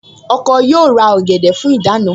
Ọkọ yóò ra ọ̀gẹ̀dẹ̀ fún ìdáná